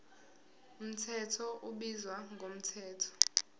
mthetho ubizwa ngomthetho